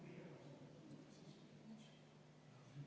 Me oleme valinud õige poole, me toetame Ukrainat.